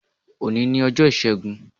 Òní ni ọjọ́ Ìṣẹ́gun.